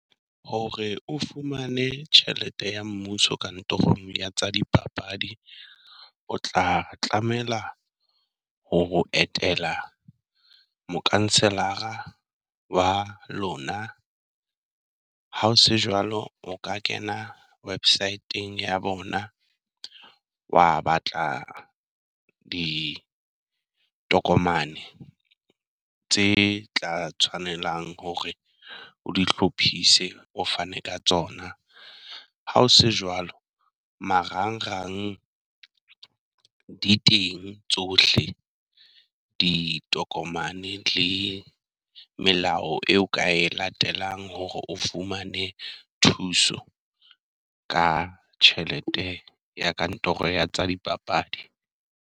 Hore o fumane tjhelete ya mmuso kantorong ya tsa dipapadi, o tla tlamela hore o etela Mokhanselara wa lona. Ha o se jwalo, o ka kena website-eng ya bona wa batla ditokomane tse tla tshwanelang hore o di hlophise, o fane ka tsona. Ha o se jwalo marangrang di teng tsohle, ditokomane le melao eo ka e latelang hore o fumane thuso ka tjhelete ya kantoro ya tsa dipapadi.